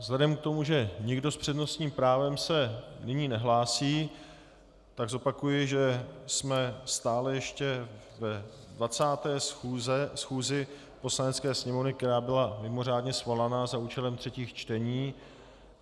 Vzhledem k tomu, že nikdo s přednostním právem se nyní nehlásí, tak zopakuji, že jsme stále ještě ve 20. schůzi Poslanecké sněmovny, která byla mimořádně svolaná za účelem třetích čtení.